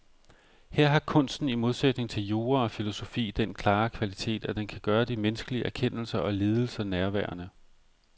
Her har kunsten i modsætning til jura og filosofi den klare kvalitet, at den kan gøre de menneskelige erkendelser og lidelser nærværende.